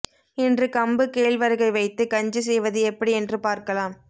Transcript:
இன்று கம்பு கேழ்வரகை வைத்து கஞ்சி செய்வது எப்படி என்று பார்க்கலாம்